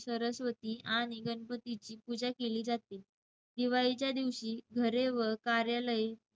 सरस्वती आणि गणपतीची पूजा केली जाते. दिवाळीच्या दिवशी घरे व कार्यालये